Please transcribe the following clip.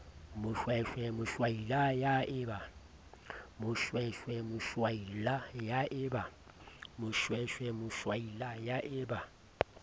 moshweshwe moshwashwaila ya e ba